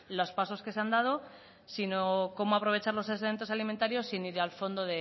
los pasos que se han dado sino cómo aprovechar los excedentes alimentarios sin ir al fondo